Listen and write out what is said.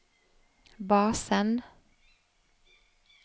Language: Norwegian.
basen